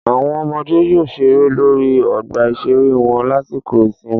Àwọn ọmọdé yóò ṣeré lórí ọgbà ìṣeré wọn lásìkò ìsinmi